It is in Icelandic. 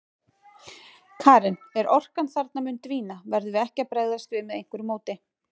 Karen: En orkan þarna mun dvína, verðum við ekki að bregðast við með einhverju móti?